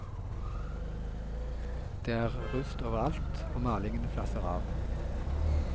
Det er rust overalt, og malingen flasser av.